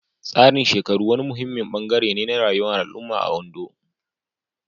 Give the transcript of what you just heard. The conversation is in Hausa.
Tsarin shekaru wani muhimmin ɓangare ne na rayuwar al'umma a Ondo.